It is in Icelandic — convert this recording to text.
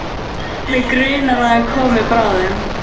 Mig grunar að hann komi bráðum.